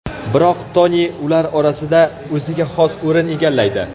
Biroq Toni ular orasida o‘ziga xos o‘rin egallaydi.